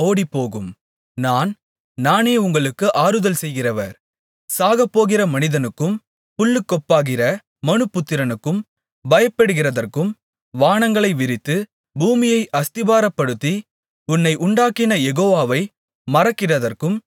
நான் நானே உங்களுக்கு ஆறுதல் செய்கிறவர் சாகப்போகிற மனிதனுக்கும் புல்லுக்கொப்பாகிற மனுபுத்திரனுக்கும் பயப்படுகிறதற்கும் வானங்களை விரித்து பூமியை அஸ்திபாரப்படுத்தி உன்னை உண்டாக்கின யெகோவாவை மறக்கிறதற்கும் நீ யார்